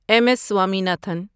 M S Swaminathan